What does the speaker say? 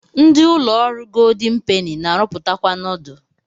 Ndi ụlọ ọrụ goldin peni na-arụpụtakwa nudul.